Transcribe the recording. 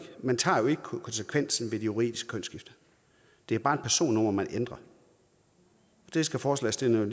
man tager jo ikke konsekvensen ved det juridiske kønsskifte det er bare et personnummer man ændrer det skal forslagsstillerne